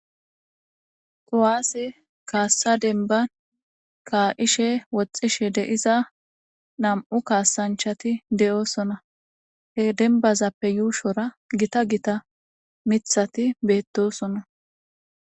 Kuwaase kaassa denban kaa'ishe, woxxishe diza nam'u kaasanchati de'osona. He denbazappe yuushora gita gita mithati beettosona.